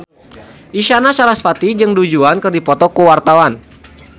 Isyana Sarasvati jeung Du Juan keur dipoto ku wartawan